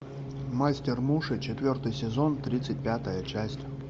мастер муши четвертый сезон тридцать пятая часть